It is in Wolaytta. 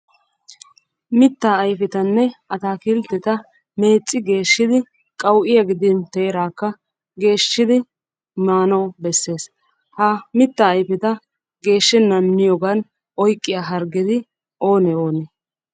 Mitaa ayfetanne ataakilteta meecci geeshidi qawu'iya gidin teeraakka geeshshidi maanawu bessees. Ha mittaa ayfeta geeshshenan miyoogan oyqqiya gargeti oonee onne?